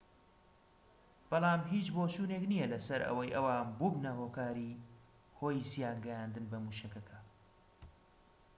بەڵام هیچ بۆچوونێك نیە لەسەر ئەوەی ئەوان بوبنە هۆی زیان گەیاندن بە موشەکەکە